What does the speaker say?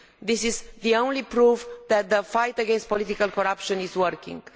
This is the only proof that the fight against political corruption is working.